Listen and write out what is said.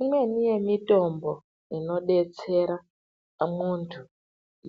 Imweni yemitombo inodetsera muntu